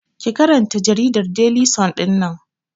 Ki karanta jaridar Deli sun ɗinnan!